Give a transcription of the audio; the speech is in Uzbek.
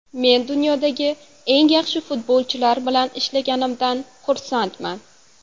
Men dunyodagi eng yaxshi futbolchilar bilan ishlaganimdan xursandman.